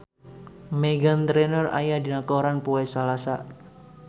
Meghan Trainor aya dina koran poe Salasa